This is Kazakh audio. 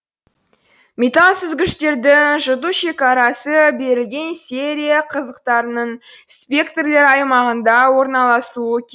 металл сүзгіштердің жұту шекарасы берілген серия қызықтарының спектрлер аймағында орналасу керек